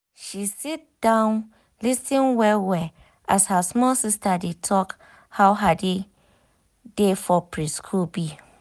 she sit down lis ten well well um as her small sister dey talk how her day for preschool be.